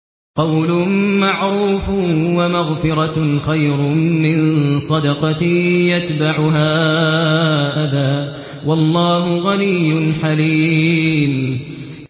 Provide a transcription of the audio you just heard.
۞ قَوْلٌ مَّعْرُوفٌ وَمَغْفِرَةٌ خَيْرٌ مِّن صَدَقَةٍ يَتْبَعُهَا أَذًى ۗ وَاللَّهُ غَنِيٌّ حَلِيمٌ